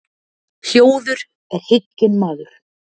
Hljóður er hygginn maður.